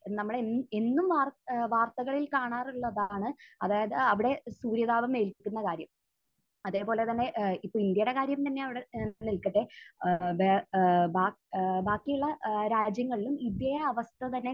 നമ്മൾ എൻ...എന്നും വാർ ഏഹ് വാർത്തകളിൽ കാണാറുള്ളതാണ്. അതായത് അവിടെ സൂര്യതാപം ഏൽക്കുന്ന കാര്യം. അതേപോലെ തന്നെ ഏഹ് ഇപ്പോൾ ഇന്ത്യയുടെ കാര്യം തന്നെ അവിടെ നിൽക്കട്ടെ. ഏഹ് ബേ ഏഹ് ബാ...ഏഹ് ബാക്കിയുള്ള ഏഹ് രാജ്യങ്ങളിലും ഇതേ അവസ്ഥ തന്നെ